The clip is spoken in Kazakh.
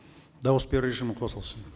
дауыс беру режимі қосылсын